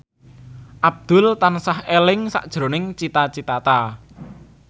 Abdul tansah eling sakjroning Cita Citata